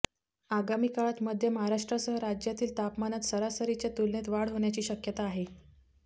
आगामी काळात मध्य महाराष्ट्रासह राज्यातील तापमानात सरासरीच्या तुलनेत वाढ होण्याची शक्यता आहे